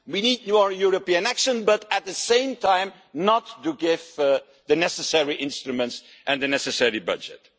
we need more European action' but, at the same time, we do not give the necessary instruments and the necessary budget.